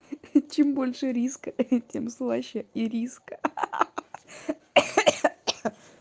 чем больше риска тем слаще ириска ха-ха